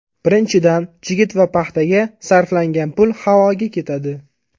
Birinchidan, chigit va paxtaga sarflangan pul havoga ketadi.